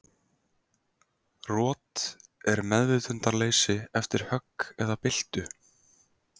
Rot er meðvitundarleysi eftir högg eða byltu.